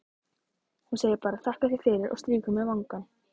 Hún segir bara: þakka þér fyrir, og strýkur mér vangann.